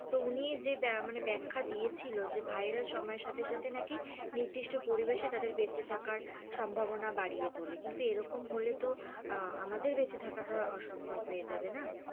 তো উনি যে ব্যাখা দিয়াছিলো যে virus সময়ের সাথে সাথে নাকি নির্দিষ্ট পরিবেশে তাদের বেঁচে থাকার সম্ভবনা বাড়িয়ে তোলে, কিন্তু এরকম হলে তো আমাদের বেঁচে থাকাটা অসম্ভব হয়ে যাবে না?